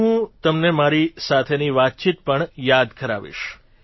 હવે હું તમને મારી સાથેની વાતચીત પણ યાદ કરાવીશ